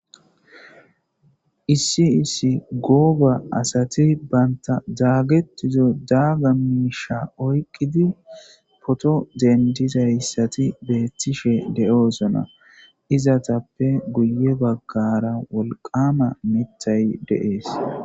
Issi issi gooba asati banta daagettizo daaga miisha oyqqidi poto dendizayssati beethtishe de'oosona izatappe guye baggara wolqama mitay deees.